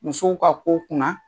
Musow ka ko kunna